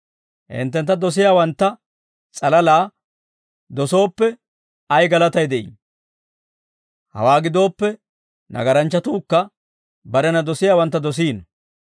«Hinttentta dosiyaawantta s'alalaa dosooppe ay galatay de'ii? Hawaa gidooppe nagaranchchatuukka barena dosiyaawantta dosiino.